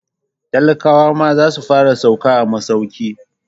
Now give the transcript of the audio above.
Talakawa ma za su fara sauka a masauki.